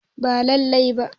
Ba lallai ba